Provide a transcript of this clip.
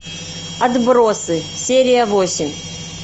отбросы серия восемь